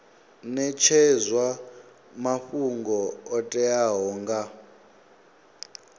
netshedzwa mafhungo o teaho nga